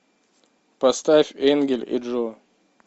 поставь энгель и джо